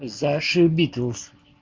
зашибитлз